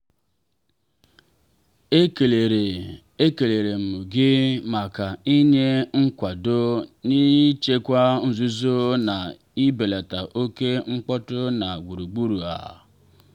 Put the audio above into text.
ekelere ekelere m gi maka inye nkwado n' ịchekwa nzuzo na ibelata oke mkpọtụ na gburugburu a.